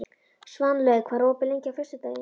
Svanlaug, hvað er opið lengi á föstudaginn?